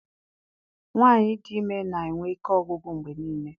Nwaanyị dị ime na-enwe ike ọgwụgwụ mgbe niile.